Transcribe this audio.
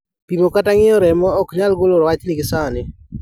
Pimo kata ng'iyo remo oknyal golo wach ni gi sani